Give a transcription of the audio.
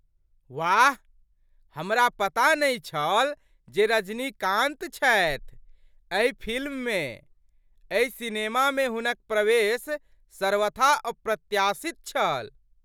वाह! हमरा पता नहि छल जे रजनीकान्त छथि एहि फिल्ममे । एहि सिनेमामे हुनक प्रवेश सर्वथा अप्रत्याशित छल।